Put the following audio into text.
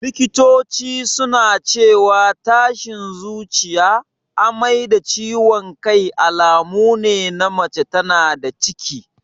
Likitoci suna cewa tashin zuciya, amai da ciwan kai alamune na mace tana da ciki